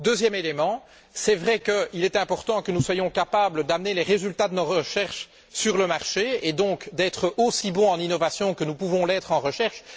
Deuxième élément c'est vrai qu'il est important que nous soyons capables d'amener les résultats de nos recherches sur le marché et donc d'être aussi bons en innovation que nous pouvons l'être en recherche.